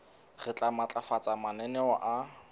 re tla matlafatsa mananeo a